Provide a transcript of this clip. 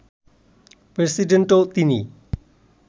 প্রেসিডেন্টও তিনি